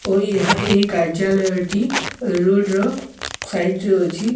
ଓ ଏହା ଏହି କାର୍ଯ୍ୟଲୟ ଟି ରୋଡ଼ ର ସାଇଟ୍ ରେ ଅଛି।